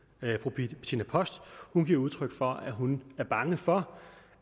bettina post giver udtryk for at hun er bange for